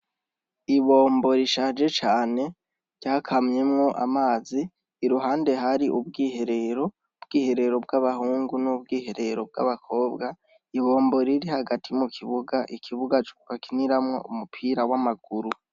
Ibombo rishaje cane ryakamyemwo amazi iruhande hari ubwiherero bwiherero bw'abahungu n'ubwiherero bw'abakobwa ibombo riri hagati mu kibuga ikibuga cuka kiniramwo umupira w'amaguru.